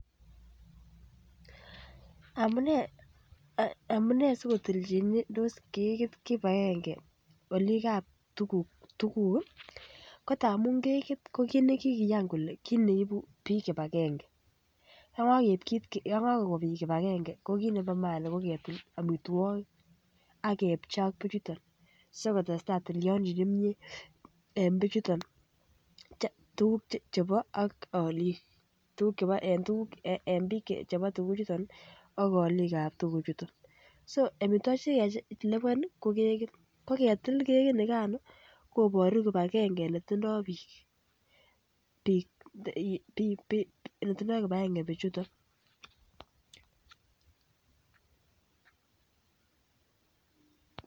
Amune sikotilchindos kekit kibagenge olik ab tuguk tuguk ko tamun kekit ko kit nekikiyan kele kit neibu bik kibagenge yon kagokon bik kibagenge ko kit nebo maana ko ketil amitwogik ak kepchei ak bichuto si kotestai tilyandit nemie en bichuto Che bo alik en tuguk chebo alik en bik chebo tuguchoto ak alik ab tuguchoto so amitwogik Che kakilipan ko kekit ko angetil kekini Kan koboru kibagenge netindoi bik kele tindoi kibagenge bichuto